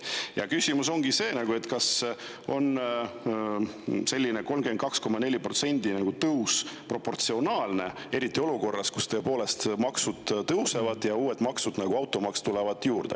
Ja küsimus ongi, kas selline 32,4%-line tõus on proportsionaalne, eriti olukorras, kus tõepoolest maksud tõusevad ja uued maksud, nagu automaks, tulevad juurde.